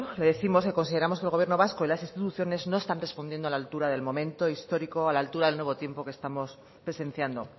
le décimos que consideramos que el gobierno vasco y las instituciones no están respondiendo a la altura del momento histórico a la altura del nuevo tiempo que estamos que estamos presenciando